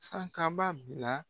Sankaba bila